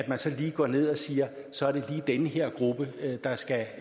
man slår ned og siger så er det lige den her gruppe der skal